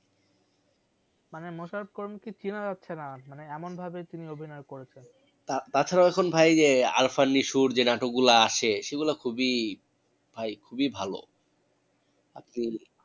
মানে মোশারফ করিম কে চেনা যাচ্ছে না মানে এমন ভাবে তিনি অভিনয় করেছেন তা~তাছাড়াও এখন ভাই যে নাটকগুলা আসে সেগুলা খুবিই ভাই খুবিই ভালো আপনি